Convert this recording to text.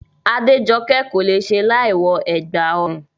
Adéjokẹ́ kò le è ṣe láìwọ ẹ̀gbà ọrùn